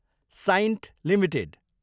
Cyient Ltd